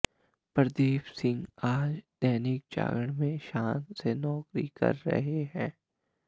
प्रदीप सिंह आज दैनिक जागरण में शान से नौकरी कर रहे हैं